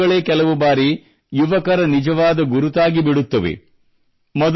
ಈಗ ಅವುಗಳೇ ಕೆಲವು ಬಾರಿ ಯುವಕರ ನಿಜವಾದ ಗುರುತಾಗಿಬಿಡುತ್ತಿವೆ